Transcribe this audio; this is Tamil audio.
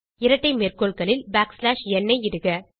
இரட்டை மேற்கோள்களுக்குள் பேக்ஸ்லாஷ் ந் ஐ இடுக